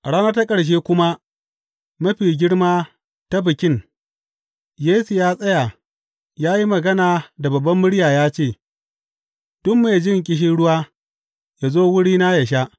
A rana ta ƙarshe kuma mafi girma ta Bikin, Yesu ya tsaya ya yi magana da babbar murya ya ce, Duk mai jin ƙishirwa, yă zo wurina yă sha.